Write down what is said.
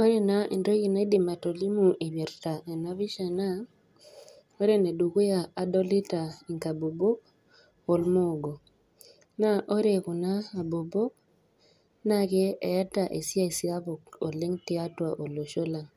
Ore naa entoki naidim atolimu eipirta ena pisha naa, ore ene dukuya adolita inkabobok olmoogo, naa ore kuna abobok, naake eata esiai sapuk tiatua olosho lang',